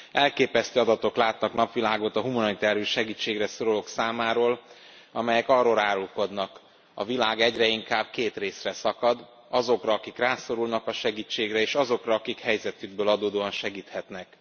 Elképesztő adatok látnak napvilágot a humanitárius segítségre szorulók számáról, amelyek arról árulkodnak a világ egyre inkább két részre szakad azokra, akik rászorulnak a segítségre és azokra, akik helyzetükből adódóan segíthetnek.